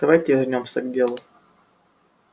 давайте вернёмся к делу